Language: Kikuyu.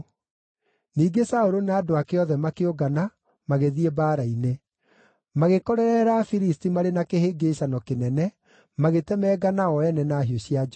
Ningĩ Saũlũ na andũ ake othe makĩũngana, magĩthiĩ mbaara-inĩ. Magĩkorerera Afilisti marĩ na kĩhĩngĩĩcano kĩnene, magĩtemangana o ene na hiũ cia njora.